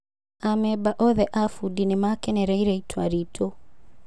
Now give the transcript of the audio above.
"amemba othe a bũdi nĩmakenereire itua ritũ.